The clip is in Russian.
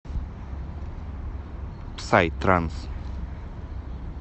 псай транс